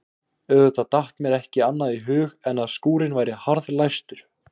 Auðvitað datt mér ekki annað í hug en að skúrinn væri harðlæstur.